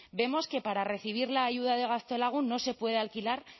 vemos que para recibir la ayuda de gaztelagun no se puede alquilar